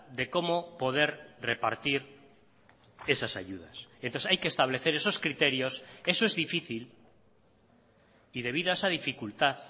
de cómo poder repartir esas ayudas entonces hay que establecer esos criterios eso es difícil y debido a esa dificultad